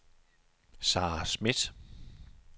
Sarah Schmidt